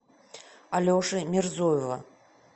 алеши мирзоева